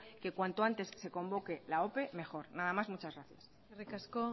que cuanto antes se convoque la ope mejor nada más muchas gracias eskerrik asko